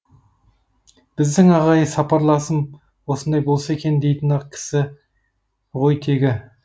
біздің ағай сапарласым осындай болса екен дейтін ақ кісі ғой тегі